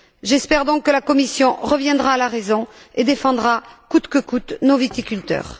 J'espère donc que la Commission reviendra à la raison et défendra, coûte que coûte, nos viticulteurs.